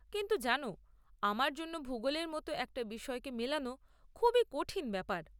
কিন্তু জানো, আমার জন্য ভুগোলের মতো একটা বিষয়কে মেলানো খুবই কঠিন ব্যাপার।